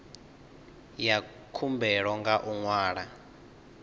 ya khumbelo nga u ṅwala